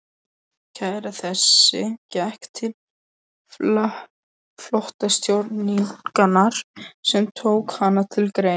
Kæra þessi gekk til flotastjórnarinnar, sem tók hana til greina.